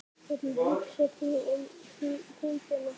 Hvernig hugsar þú um húðina?